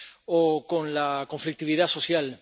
o con la conflictividad social.